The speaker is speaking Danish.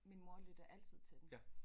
Min mor lytter altid til den